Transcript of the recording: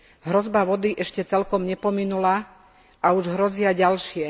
Hrozba vody ešte celkom nepominula a už hrozia ďalšie.